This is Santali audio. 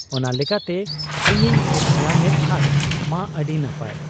ᱚᱱᱟ ᱞᱮᱠᱟᱛᱮ ᱤᱧᱤᱧ ᱧᱟᱢᱮᱫ ᱠᱷᱟᱱ ᱢᱟ ᱟᱹᱰᱤ ᱱᱟᱯᱟᱭ ᱾